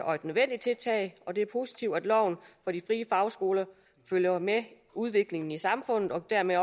og nødvendigt tiltag og det er positivt at loven for de frie fagskoler følger med udviklingen i samfundet og dermed